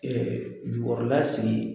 Jɔyɔrɔla sen